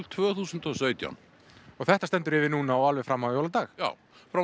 tvö þúsund og sautján og þetta stendur yfir núna og alveg fram á jóladag já